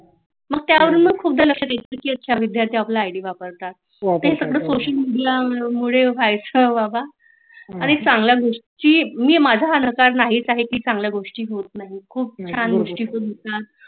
मग त्यावरुन मग खुपदा लक्षात यायच की अच्छा विद्यार्थी आपला‌ आईडी वापरतात तर हे सगळ सोशल मेडिया मुळे व्हायच बाबा आणि चांगल्या गोष्टी होत नाहीत मी माझ नकार नाही काही कि चांगल गोष्टी होत नाहीत खुप छान गोष्टी होतात